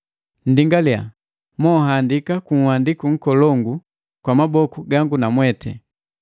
Nndingaliya mohandaki ku handiku nkolongu kwa maboku gangu namwete.